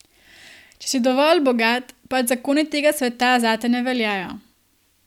Če si dovolj bogat, pač zakoni tega sveta zate ne veljajo.